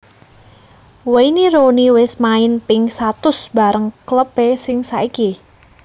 Wayne Rooney wes main ping satus bareng klub e sing saiki